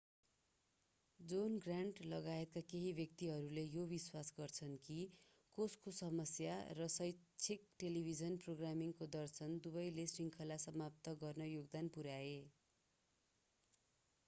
John Grant लगायत केही व्यक्तिहरूले यो विश्वास गर्छन् कि कोषको समस्या र शैक्षिक टेलिभिजन प्रोग्रामिङको दर्शन दुवैले श्रृङ्खला समाप्त गर्न योगदान पुर्‍याए।